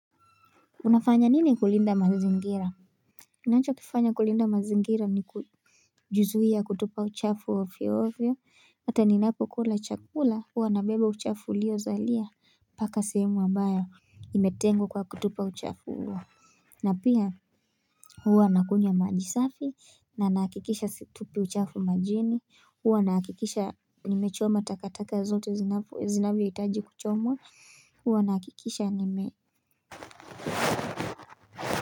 Unafanya nini kulinda mazingira ninacho kifanya kulinda mazingira ni kujizuia kutupa uchafu ovyo ovyo hata ninapokula chakula huwa nabeba uchafu ulio zalia mpaka sehemu ambayo imetengwa kwa kutupa uchafu huo. Na pia huwa nakunywa maji safi na nahakikisha situpi uchafu majini huwa nahakikisha nimechoma takataka zote zinavyohitaji kuchomwa huwa nahakikisha nime.